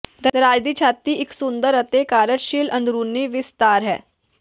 ਦਰਾਜ਼ ਦੀ ਛਾਤੀ ਇੱਕ ਸੁੰਦਰ ਅਤੇ ਕਾਰਜਸ਼ੀਲ ਅੰਦਰੂਨੀ ਵਿਸਤਾਰ ਹੈ